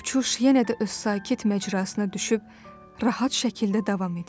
Uçuş yenə də öz sakit məcrasına düşüb rahat şəkildə davam edir.